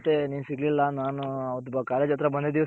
ಮತ್ತೆ ನೀನ್ ಸಿಗ್ಲಿಲ್ಲ ನಾನು college ಹತ್ರ ಬಂದಿದ್ ದಿಸ